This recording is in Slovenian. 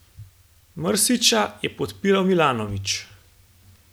Mrsića je podpiral Milanović.